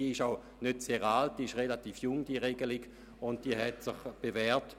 Diese ist noch nicht sehr alt, und sie hat sich bewährt.